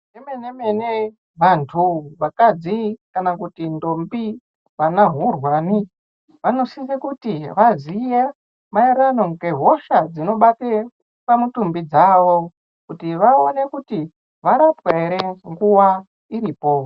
Zvemene mene vantu vakadzi kana kuti ndombi vana hurwani vanosisa kuti vazive maererano nehosha dzinobata pamutumbi dzawo kuti vaone kuti varapwa here nguwa iripo.